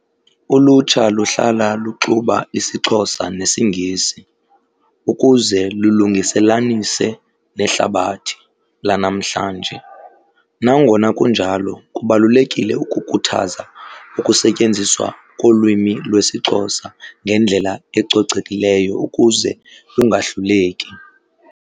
Ulutsha luhlala luxuba isiXhosa nesiNgisi ukuze lulungiselanise nehlabathi lanamhlanje. Nangona kunjalo kubalulekile ukukhuthaza ukusetyenziswa kolwimi lwesiXhosa ngendlela ecocekileyo ukuze bungahluleki.